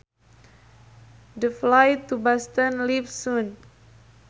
The flight to Boston leaves soon